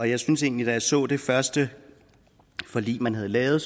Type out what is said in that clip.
jeg synes egentlig da jeg så det første forlig man havde lavet